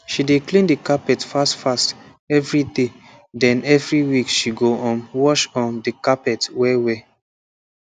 she dey clean the carpet fast fast evriday den evri week she go um wash um the carpet wellwell